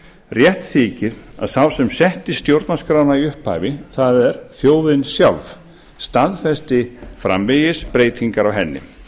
rétt þykir að sá sem setti stjórnarskrána í upphafi það er þjóðin sjálf staðfesti framvegis breytingar á henni